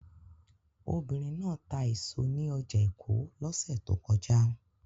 Obìnrin náà ta èso ní ọjà èkó lọ́sẹ̀ tó kọjá